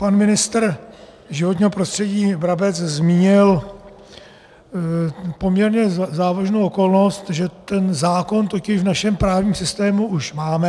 Pan ministr životního prostředí Brabec zmínil poměrně závažnou okolnost, že ten zákon totiž v našem právním systému už máme.